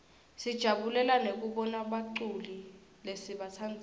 sijabulela nekubona baculi lesibatsandzako